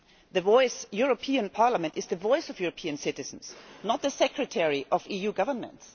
The European Parliament is the voice of European citizens, not the secretary of EU governments.